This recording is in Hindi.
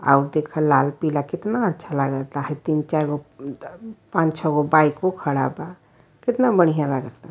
आओ देख लाल पीला केतना अच्छा लागता ह तीन चार गो म् द् पान छव गो बाइको खड़ा बा। केतना बढ़िया लाग ता।